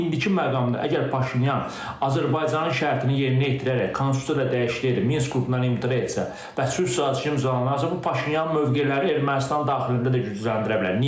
İndiki məqamda əgər Paşinyan Azərbaycanın şərtini yerinə yetirərək konstitusiya ilə dəyişdirib, Minsk qrupundan imtina etsə, və sülh sazişi imzalanacaqsa, bu Paşinyanın mövqeyini Ermənistan daxilində də gücləndirə bilər.